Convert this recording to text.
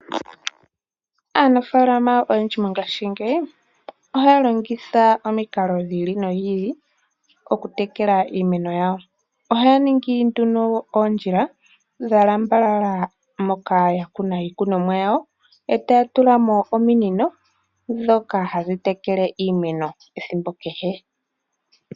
Aanafalama oyendji mongaashingeyi ohaya longitha omikalo dhili ili nodhi ili okuteleka iimeno yawo. Ohaya ningi nduno oondjila dhalambala moka yakuna iikunomwa yawo etya tulamo ominino ndhoka hadhi tekele iimeno ethimbo kehe.